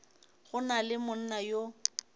go na le monna yo